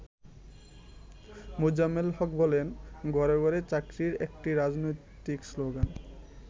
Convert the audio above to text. মোজাম্মেল হক বলেন, “ঘরে ঘরে চাকুরী একটি রাজনৈতিক শ্লোগান।